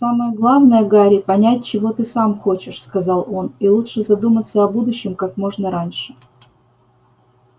самое главное гарри понять чего ты сам хочешь сказал он и лучше задуматься о будущем как можно раньше